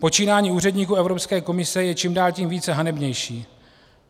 Počínání úředníků Evropské komise je čím dál tím více hanebnější.